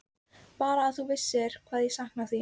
Bara að þú vissir hvað ég sakna þín.